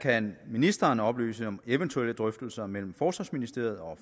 kan ministeren oplyse om eventuelle drøftelser mellem forsvarsministeriet og